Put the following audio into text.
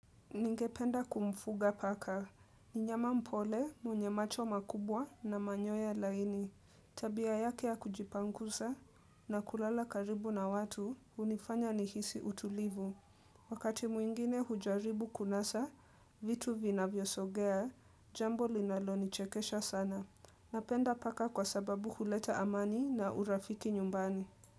Ningependa kumfuga paka, ni nyama mpole mwenye macho makubwa na manyoya laini, tabia yake ya kujipangusa na kulala karibu na watu unifanya nihisi utulivu. Wakati mwingine hujaribu kunasa, vitu vinavyosogea, jambo linalo nichekesha sana. Napenda paka kwa sababu huleta amani na urafiki nyumbani.